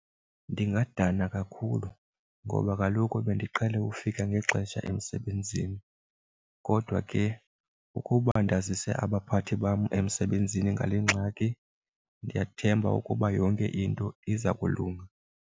Ndingadana kakhulu ngoba kaloku bendiqhele ufika ngexesha emsebenzini kodwa ke ukuba ndazise abaphathi bam emsebenzini ngale ngxaki ndiyathemba ukuba yonke into iza kulunga.